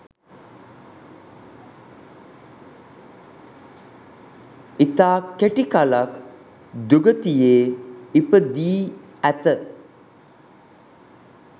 ඉතා කෙටිකලක් දුගතියේ ඉපදී ඇත